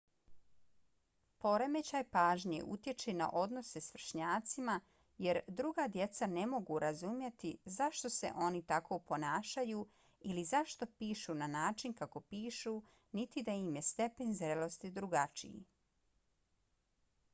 poremećaj pažnje utječe na odnose s vršnjacima jer druga djeca ne mogu razumjeti zašto se oni tako ponašaju ili zašto pišu na način kako pišu niti da im je stepen zrelosti drugačiji